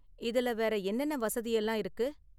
இதுல வேற என்னென்ன வசதி எல்லாம் இருக்கு?